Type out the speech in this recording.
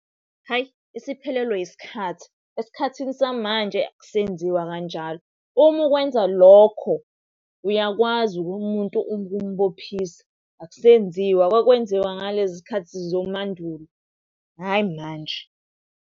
Hayi! Isiphelelwe yisikhathi, esikhathini samanje akusenziwa kanjalo. Uma ukwenza lokho uyakwazi umuntu ukumubophisa, akusenziwa. Kwakwenziwa ngalezi zikhathi zomandulo, hhayi manje.